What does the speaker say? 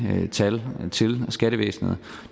tal til skattevæsenet